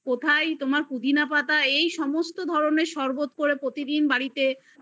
কোথায় তার পুদিনা পাতা এইসব সমস্ত ধরণের শরবত করে প্রতিদিন বাড়িতে